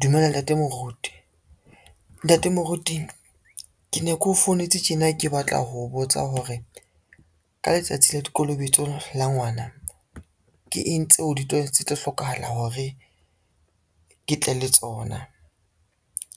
Dumela ntate moruti. Ntate moruti ke ne ke o founetse tjena ke batla ho botsa hore ka letsatsi la dikolobetso la ngwana, ke eng tseo tse tlo hlokahala hore ke tle le tsona,